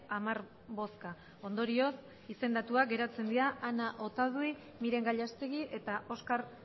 hamar bozka ondorioz izendatuak geratzen dira ana otadui miren gallastegui eta oskar